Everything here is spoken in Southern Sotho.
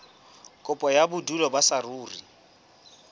kopo ya bodulo ba saruri